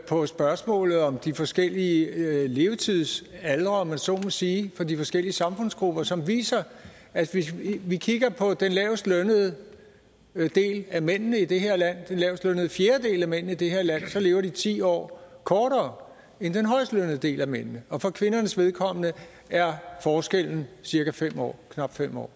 på spørgsmålet om de forskellige levetidsaldre om man så må sige for de forskellige samfundsgrupper som viser at hvis vi kigger på den lavest lønnede del af mændene i det her land den lavestlønnede fjerdedel af mændene i det her land så lever de ti år kortere end den højstlønnede del af mændene og for kvindernes vedkommende er forskellen cirka fem år knap fem år